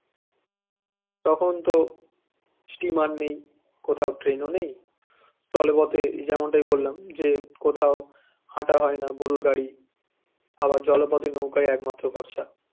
তখন তো steamer নেই কথাও train ও নেই স্থলপথে যেমনটা বললাম যে কোথাও হাটা হয় না গরুর গাড়ি আবার জল পথে নৌকাই একমাত্র ভরসা